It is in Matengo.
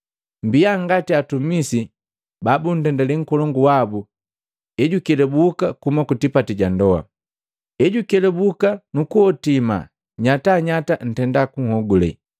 mmbia ngati hatumisi babundendale nkolongu wabu ejukelubuka kuhuma kutipati ja ndoa. Ejukelabuka nukuhotima nyatanyata antenda kunhogule.